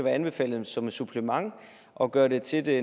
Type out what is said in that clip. anbefalet som et supplement og gør det til det